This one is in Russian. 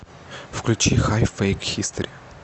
включи хай фэйк хистори